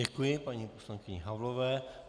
Děkuji paní poslankyni Havlové.